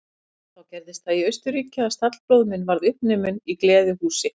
Þá gerðist það í Austurríki að stallbróðir minn varð uppnuminn í gleðihúsi.